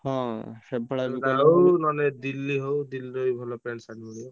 ସେଟା ହଉ ନହନେ Delhi ହଉ Delhi ରେ ବି ଭଲ pant shirt ମିଳେ।